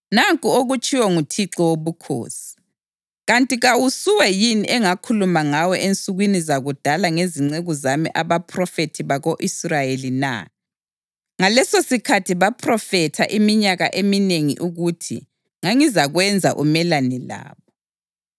Nanku okutshiwo nguThixo Wobukhosi: Kanti kawusuwe yini engakhuluma ngawe ensukwini zakudala ngezinceku zami abaphrofethi bako-Israyeli na? Ngalesosikhathi baphrofetha iminyaka eminengi ukuthi ngangizakwenza umelane labo.